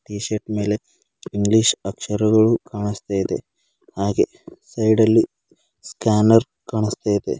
Tea shirt ಮೇಲೆ English ಅಕ್ಷರಗಳು ಕಾಣಿಸ್ತಾ ಇದೆ ಹಾಗೆ ಸೈಡ್ ಅಲ್ಲಿ ಸ್ಕ್ಯಾನರ್ ಕಾಣಿಸ್ತಾ ಇದೆ.